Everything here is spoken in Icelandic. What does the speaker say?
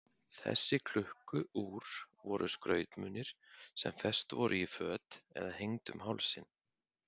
Þessi klukku-úr voru skrautmunir sem fest voru í föt eða hengd um hálsinn.